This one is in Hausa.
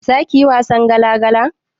Zakiyi wasan gala gala?